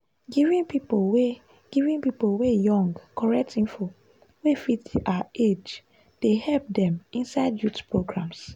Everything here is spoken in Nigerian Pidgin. giving pipo wey giving pipo wey young correct info wey fit their age dey help dem inside youth programs.